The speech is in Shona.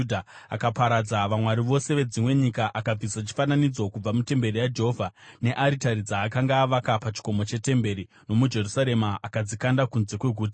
Akaparadza vamwari vose vedzimwe nyika akabvisa chifananidzo kubva mutemberi yaJehovha nearitari dzaakanga avaka pachikomo chetemberi nomuJerusarema akadzikanda kunze kweguta.